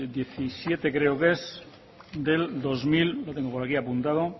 diecisiete creo que es del lo tengo por aquí apuntado